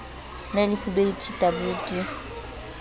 le lefubedu t w d